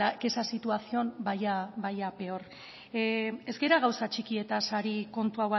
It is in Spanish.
que esa situación vaya a peor ez gara gauza txikietaz ari kontu